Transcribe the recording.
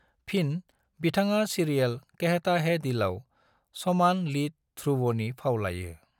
फिन, बिथाङा सिरियेल कहता है दिलआव समान लीड ध्रुवनि फाव लायो।